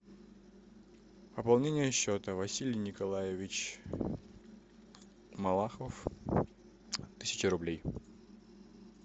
пополнение счета василий николаевич малахов тысяча рублей